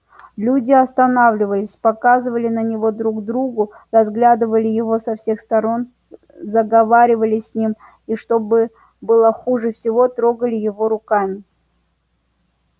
люди останавливались показывали на него друг другу разглядывали его со всех сторон заговаривали с ним и что было хуже всего трогали его руками